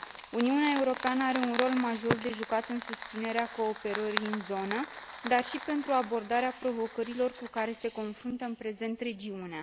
Uniunea Europeană are un rol major de jucat în susținerea cooperării în zonă, dar și pentru abordarea provocărilor cu care se confruntă în prezent regiunea.